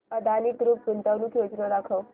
Adani group गुंतवणूक योजना दाखव